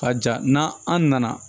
Ka ja n'an an nana